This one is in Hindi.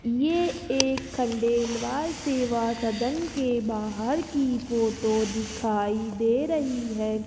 ये एक खंडेलवाल सेवा सदन के बाहर की फोटो दिखाई दे रही है।